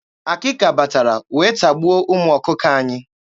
Akịka batara wee tagbuo ụmụ ọkụkọ anyị.